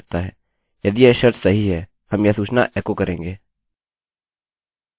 अब यदि हम यहाँ जाते हैंline no 9